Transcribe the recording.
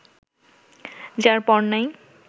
যার পর নাই